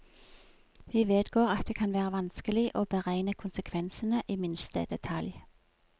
Vi vedgår at det kan være vanskelig å beregne konsekvensene i minste detalj.